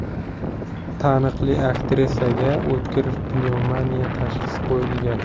Taniqli aktrisaga o‘tkir pnevmoniya tashxisi qo‘yilgan.